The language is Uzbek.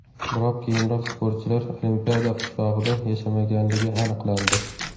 Biroq keyinroq sportchilar Olimpiada qishlog‘ida yashamaganligi aniqlandi.